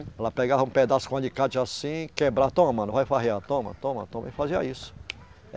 Ela pegava um pedaço com alicate assim, quebrava, toma, mano, vai farrear, toma, toma, toma, e fazia isso.